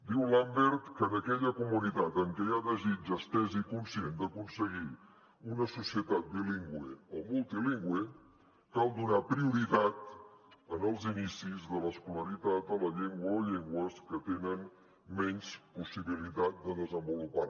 diu lambert que en aquella comunitat en què hi ha desig estès i conscient d’aconseguir una societat bilingüe o multilingüe cal donar prioritat en els inicis de l’escolaritat a la llengua o llengües que tenen menys possibilitat de desenvolupar se